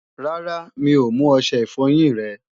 Rárá, mi ò mú ọṣẹ ìfọyín rẹ